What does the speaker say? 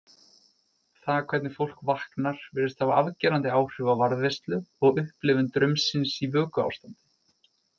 Það hvernig fólk vaknar virðist hafa afgerandi áhrif á varðveislu og upplifun draumsins í vökuástandi.